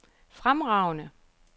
fremragende